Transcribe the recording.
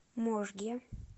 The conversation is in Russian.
можге